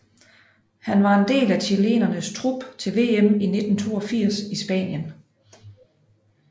Han var en del af chilenernes trup til VM i 1982 i Spanien